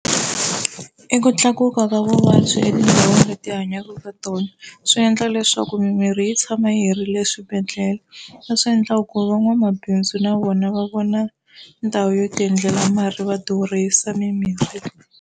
I ku tlakuka ka vuvabyi etindhawini leti hi hanyaka ka tona, swi endla leswaku mimirhi yi tshama yi herile swibedhlele. Leswi endlaka ku van'wamabindzu na vona va vona ndhawu yo ti endlela mali va durhisa mimirhi.